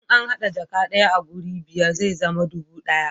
in an hada jaka daya a wuri biyar zai zama dubu ɗaya